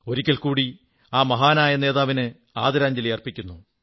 ഒരിക്കൽ കൂടി ആ മഹാനായ നേതാവിന് ആദരാഞ്ജലി അർപ്പിക്കുന്നു